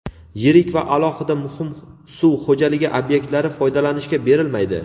Yirik va alohida muhim suv xo‘jaligi obyektlari foydalanishga berilmaydi.